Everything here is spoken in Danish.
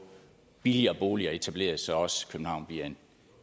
billigere boliger etableret så også københavn bliver